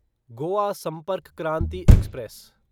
Goa Sampark Kranti express